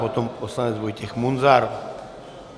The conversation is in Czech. Potom poslanec Vojtěch Munzar.